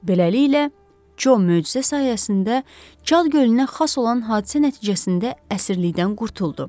Beləliklə, Co möcüzə sayəsində Cad gölünə xas olan hadisə nəticəsində əsirlikdən qurtuldu.